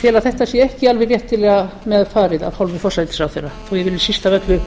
tel að þetta sé ekki alveg réttilega með farið af hálfu forsætisráðherra við viljum síst af öllu